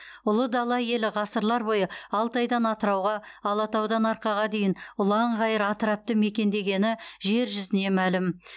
ұлы дала елі ғасырлар бойы алтайдан атырауға алатаудан арқаға дейін ұлан ғайыр атырапты мекендегені жер жүзіне мәлім